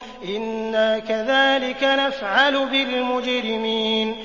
إِنَّا كَذَٰلِكَ نَفْعَلُ بِالْمُجْرِمِينَ